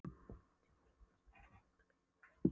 Þennan tíma var Jón Ásbjarnarson vakandi í bið eftir hefnd